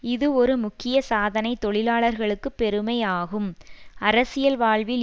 இது ஒரு முக்கிய சாதனை தொழிலாளர்களுக்கு பெருமை ஆகும் அரசியல் வாழ்வில்